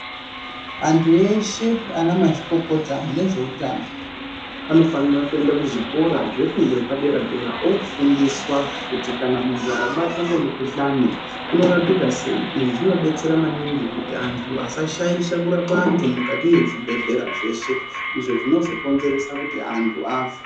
Antu eshe ana mazvikokota nezveutano anofanira kuenda kuzvikora zvefundo yepadera-dera, ofundiswa kuti kana muntu akabatwa ngemukuhlani unorapika sei. Izvi zvinobetsera maningi kuti antu asashaisha kurapa antu mukati mezvibhedhlera zveshe. Izvo zvinozokonzeresa kuti antu afe.